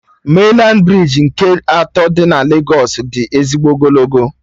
Mainlandị brij nke atọ dị na Legos dị ezigbo ogologo